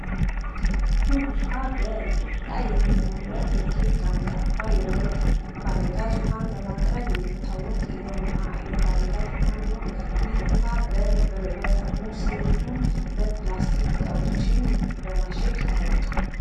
ኩል ዉኃ በኢትዮጵያ የሚመረት እጅግ አንጋፋ ባለ ጋዝ ዉኃን በማቅረብ የሚታወቅ የዉኃ የባለ ጋዝ ዉኃ ነዉ። ይህ ዉኃ በጠርሙስ እንዲሁም በፕላስቲክ ዉኃዎችን በማሸግ ይታወቃል።